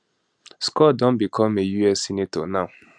scott don become a us senator now